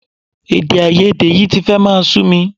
Èdèàìyedè yìí ti fẹ́ máa sú mi